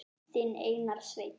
Þinn Einar Sveinn.